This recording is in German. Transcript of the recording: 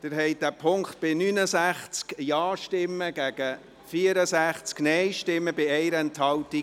Sie haben den Punkt 4 angenommen mit 69 Ja- gegen 64 Nein-Stimmen bei 1 Enthaltung.